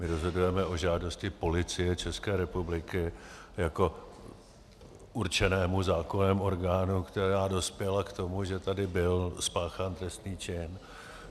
My rozhodujeme o žádosti Policie České republiky jako určeném zákonném orgánu, která dospěla k tomu, že tady byl spáchán trestný čin.